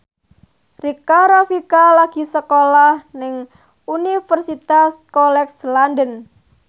Rika Rafika lagi sekolah nang Universitas College London